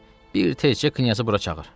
Bir təkcə Knyazı bura çağır.